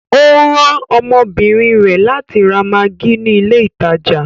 Ọ ran ọmọbínrin rẹ látì rà maggi ni ilẹ̀ ìtajà.